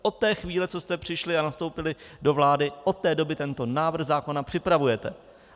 Od té chvíle, co jste přišli a nastoupili do vlády, od té doby tento návrh zákona připravujete.